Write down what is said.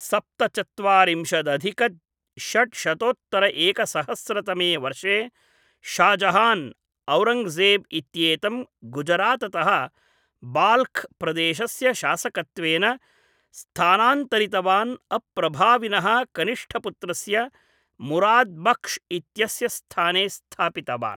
सप्तचत्वारिंशदधिक षट् शतोत्तर एकसहस्र तमे वर्षे, शाह् जहान्, औरङ्गजेब् इत्येतं गुजराततः बाल्ख् प्रदेशस्य शासकत्वेन स्थानान्तरितवान्, अप्रभाविनः कनिष्ठपुत्रस्य मुराद् बक्श् इत्यस्य स्थाने स्थापितवान्।